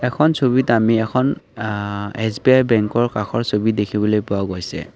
এখন ছবিত আমি এখন আ এছ_বি_আই বেংকৰ কাষৰ ছবি দেখিবলৈ পোৱা গৈছে।